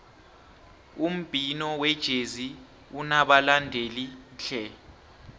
umbhino wejezi unabalandeli tle